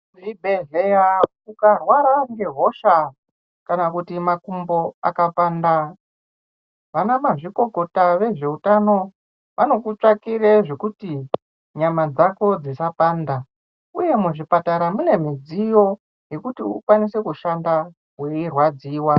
Zvibhedhleya ukarwara ngehosha kana kuti makumbo akapanda vana mazvikokota vezveutano anokutsvakire zvekuti nyama dzako dzisapanda uye muzvipatara mune midziyo yekuti ukwanise kushanda weirwadziwa.